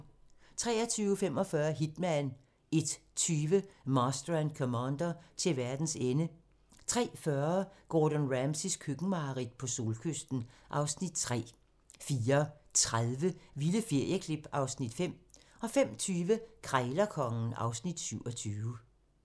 23:45: Hitman 01:20: Master and Commander: Til verdens ende 03:40: Gordon Ramsays køkkenmareridt - på solkysten (Afs. 3) 04:30: Vilde ferieklip (Afs. 5) 05:20: Krejlerkongen (Afs. 27)